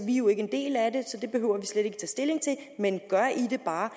jo ikke en del af det så det behøver vi tage stilling til men gør i det bare